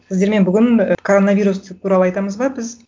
сіздермен бүгін ы коронавирус туралы айтамыз ба біз